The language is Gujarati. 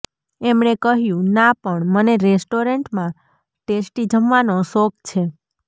એમણે કહ્યું ના પણ મને રેસ્ટોરન્ટમાં ટેસ્ટી જમવાનો શોખ છે